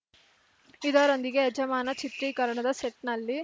ಇದರೊಂದಿಗೆ ಯಜಮಾನ ಚಿತ್ರೀಕರಣದ ಸೆಟ್‌ನಲ್ಲಿ